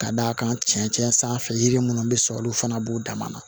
Ka d'a kan cɛncɛn sanfɛ yiri minnu bɛ sɔrɔ olu fana b'u dama na